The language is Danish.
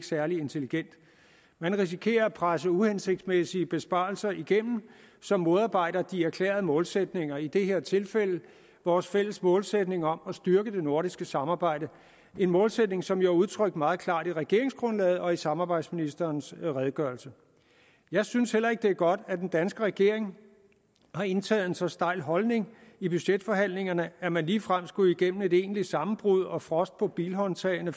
særlig intelligent man risikerer at presse uhensigtsmæssige besparelser igennem som modarbejder de erklærede målsætninger i det her tilfælde vores fælles målsætning om at styrke det nordiske samarbejde en målsætning som jo er udtrykt meget klart i regeringsgrundlaget og i samarbejdsministerens redegørelse jeg synes heller ikke det er godt at den danske regering har indtaget en så stejl holdning i budgetforhandlingerne at man ligefrem skulle igennem et egentligt sammenbrud og frost på bilhåndtagene